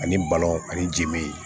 Ani balon ani ji me